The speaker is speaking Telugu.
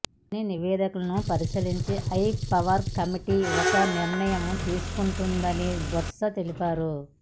అన్ని నివేదికలను పరిశీలించి హై పవర్ కమిటీ ఒక నిర్ణయం తీసుకుంటుందని బొత్స తెలిపారు